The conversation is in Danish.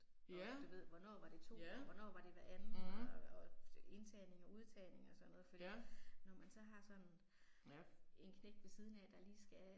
Ja, ja, mh. Ja. Ja